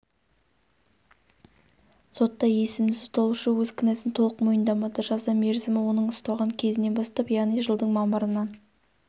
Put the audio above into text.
сотта есімді сотталушы өз кінәсын толық мойындамады жаза мерзімі оның ұсталған кезінен бастап яғни жылдың мамырынан